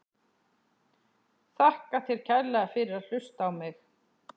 Þakka þér kærlega fyrir að hlusta á mig!?